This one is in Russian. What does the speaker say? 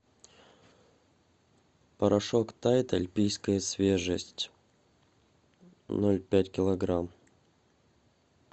порошок тайд альпийская свежесть ноль пять килограмм